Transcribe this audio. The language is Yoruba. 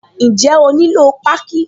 Ǹjẹ́ ó nílò páákí?